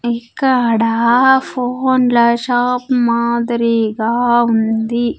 ఇక్కడ ఫోన్ల షాప్ మాదిరీగా ఉంది.